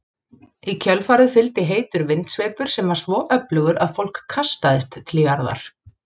Í kjölfarið fylgdi heitur vindsveipur sem var svo öflugur að fólk kastaðist til jarðar.